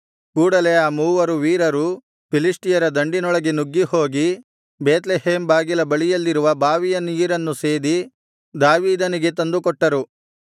ಕೂಡಲೆ ಆ ಮೂವರು ವೀರರು ಫಿಲಿಷ್ಟಿಯರ ದಂಡಿನೊಳಗೆ ನುಗ್ಗಿ ಹೋಗಿ ಬೇತ್ಲೆಹೇಮ್ ಬಾಗಿಲ ಬಳಿಯಲ್ಲಿರುವ ಬಾವಿಯ ನೀರನ್ನು ಸೇದಿ ದಾವೀದನಿಗೆ ತಂದು ಕೊಟ್ಟರು